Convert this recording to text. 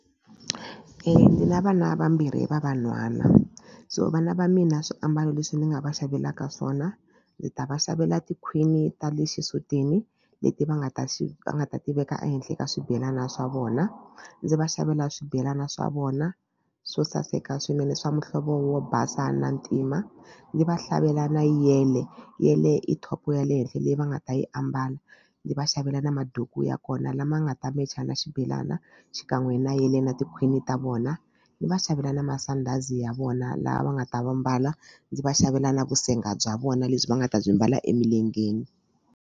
Ni na vana vambirhi va vanhwana so vana va mina swiambalo leswi ni nga va xavelaka swona ndzi ta va xavela tikhwini ta le xisutini leti va nga ta xi va nga ta ti veka ehenhla ka swibelana swa vona ndzi va xavela swibelana swa vona swo saseka swinene swa muhlovo wo basa na ntima ndzi va hlavelela na yele yele i top up ya le henhla leyi va nga ta yi ambala ndzi va xavela na maduku ya kona lama nga ta mecha na xibelana xikan'we na yele na tikhwini ta vona ni va xavela na masandhazi ya vona laha va nga ta va mbala ndzi va xavela na vusenga bya vona lebyi va nga ta byi mbala emilengeni.